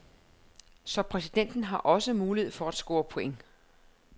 Så præsidenten har også mulighed for at score points.